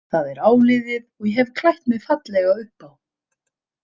Það er áliðið og ég hef klætt mig fallega upp á.